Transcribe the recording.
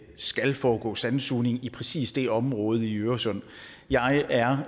skal foregå sandsugning i præcis det område i øresund jeg er